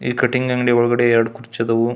ಈ ಕಟಿಂಗ್ ಅಂಗಡಿ ಒಳಗಡೆ ಎರಡ್ ಕುರ್ಚಿ ಆದವು.